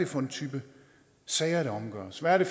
for en type sager der omgøres hvad det